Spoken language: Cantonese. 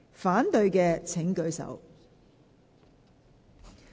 反對的請舉手。